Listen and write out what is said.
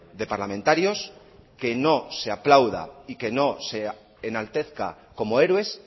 de parlamentarios que no se aplauda y que no se enaltezca como héroes